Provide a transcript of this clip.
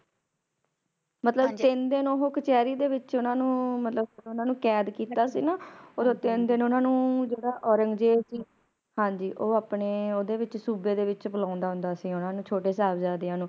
ਮਤਲਬ ਤਿਨ ਦਿਨ ਉਹ ਕਚੈਰੀ ਦੇ ਵਿੱਚ ਓਹਨਾ ਨੂੰ ਮਤਲਬ ਓਹਨਾ ਨੂੰ ਕੈਦ ਕੀਤਾ ਸੀ ਨਾ ਓਦੋ ਤਿਨ ਦਿਨ ਓਹਨਾਂ ਨੂੰ ਜਿਹੜਾ ਔਰੰਗਜੇਬ ਸੀ ਹਾਂਜੀ ਉਹ ਆਪਣੇ ਓਦੇ ਵਿੱਚ ਸੂਬੇ ਦੇ ਵਿੱਚ ਬੁਲਾਉਂਦਾ ਹੁੰਦਾ ਸੀ ਓਹਨਾ ਨੂੰ ਛੋਟੇ ਸਾਹਿਬਜਾਦਿਆਂ ਨੂੰ